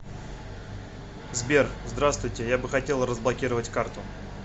сбер здравствуйте я бы хотел разблокировать карту